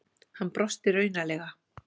Hann brosti raunalega.